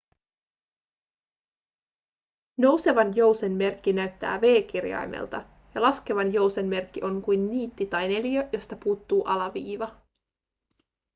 nousevan jousen merkki näyttää v-kirjaimelta ja laskevan jousen merkki on kuin niitti tai neliö josta puuttuu alaviiva